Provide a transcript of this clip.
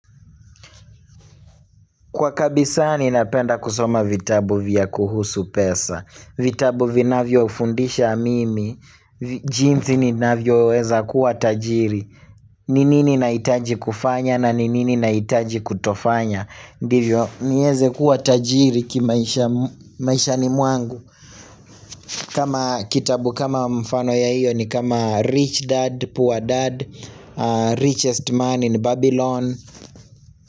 Kwa kabisa ninapenda kusoma vitabu vya kuhusu pesa vitabu vinavyoufundisha mimi jinsi nininavyoweza kuwa tajiri ni nini nahitaji kufanya na ni nini nahitaji kutofanya ndivyo nieze kuwa tajiri kimaisha maishani mwangu kama kitabu kama mfano ya hiyo ni kama Rich Dad, Poor Dad, Richest Man in Babylon.